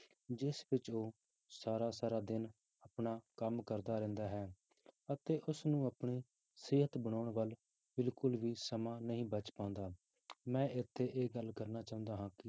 ਜਿਸ ਵਿੱਚ ਉਹ ਸਾਰਾ ਸਾਰਾ ਦਿਨ ਆਪਣਾ ਕੰਮ ਕਰਦਾ ਰਹਿੰਦਾ ਹੈ, ਅਤੇ ਉਸਨੂੰ ਆਪਣੀ ਸਿਹਤ ਬਣਾਉਣ ਵੱਲ ਬਿਲਕੁਲ ਵੀ ਸਮਾਂ ਨਹੀਂ ਬਚ ਪਾਉਂਦਾ, ਮੈਂ ਇੱਥੇ ਇਹ ਗੱਲ ਕਰਨੀ ਚਾਹੁੰਦਾ ਹਾਂ ਕਿ